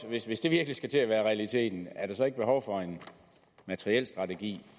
hvis hvis det virkelig skal til at være realiteten er der så ikke behov for en materielstrategi